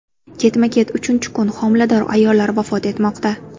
Ketma-ket uchinchi kun homilador ayollar vafot etmoqda.